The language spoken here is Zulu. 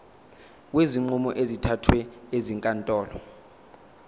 kwezinqumo ezithathwe ezinkantolo